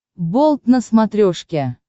болт на смотрешке